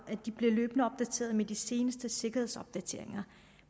som med de seneste sikkerhedsopdateringer